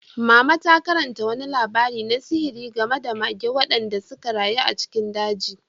Mama ta karanta wani labari na sihiri game da mage waɗanda suka rayu a cikin daji.